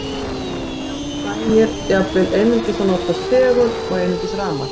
Já, það nægir jafnvel að nota einungis segul eða einungis rafmagn.